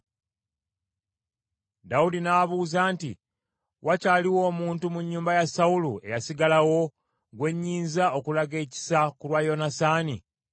Dawudi n’abuuza nti, “Wakyaliwo omuntu mu nnyumba ya Sawulo eyasigalawo gwe nnyinza okulaga ekisa ku lwa Yonasaani?”